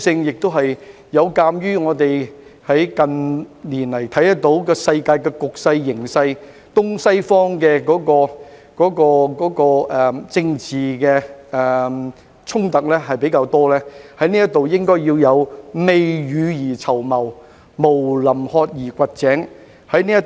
此外，有鑒於近年的世界局勢，東西方的政治衝突較多，我們在這方面宜未雨而綢繆，毋臨渴而掘井。